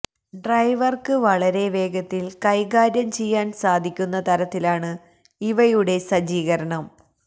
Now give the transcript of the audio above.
ഡ്രൈവർക്ക് വളരെ വേഗത്തിൽ കൈകാര്യം ചെയ്യാൻ സാധിക്കുന്ന തരത്തിലാണ് ഇവയുടെ സജ്ജികരണം